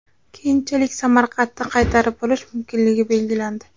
Keyinchalik Samarqandni qaytarib olish mumkinligi belgilandi.